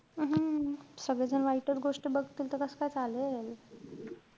हम्म सगळेजण वाईटच गोष्ट बघतील त कस्काय चालेल.